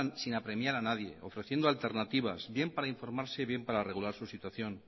sin apremiar a nadie ofreciendo alternativas bien para informarse bien para regular su situación